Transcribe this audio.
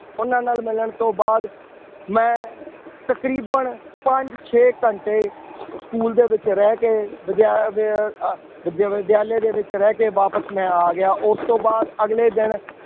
ਉਹਨਾਂ ਨਾਲ ਮਿਲਣ ਤੋਂ ਬਾਅਦ ਮੈਂ ਤਕਰੀਬਨ ਪੰਜ ਛੇ ਘੰਟੇ school ਦੇ ਵਿੱਚ ਰਹਿ ਕੇ ਵਿਦਿਆ~ ਦੇ ਅਹ ਵਿਦ~ ਵਿਦਿਆਲੇ ਦੇ ਵਿੱਚ ਰਹਿ ਕੇ ਵਾਪਸ ਮੈਂ ਆ ਗਿਆ, ਉਸ ਤੋਂ ਬਾਅਦ ਅਗਲੇ ਦਿਨ